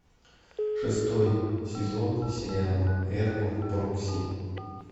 шестой сезон сериала эрго прокси